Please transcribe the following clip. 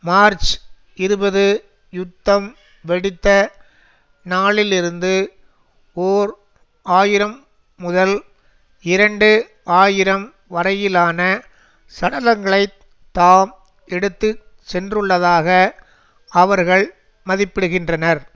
March இருபது யுத்தம் வெடித்த நாளிலிருந்து ஓர் ஆயிரம் முதல் இரண்டு ஆயிரம் வரையிலான சடலங்களைத் தாம் எடுத்து சென்றுள்ளதாக அவர்கள் மதிப்பிடுகின்றனர்